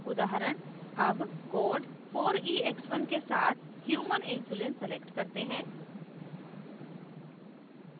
उदाहरण as code 4ex1 के साथ human human insulin select करते हैं